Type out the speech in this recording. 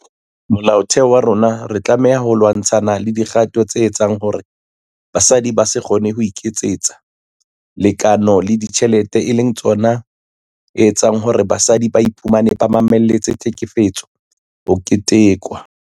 Molaotheo wa rona re tlameha ho lwa-ntshana le dikgato tse etsang hore basadi ba se kgone ho iketsetsa lekeno le dijthelete e leng tsona etseng hore basadi ba iphumane ba mamelletse tlhekefetso ho ketekwa.